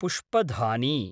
पुष्पधानी